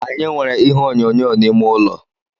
Anyị nwere ihe onyonyo n’ime ụlọ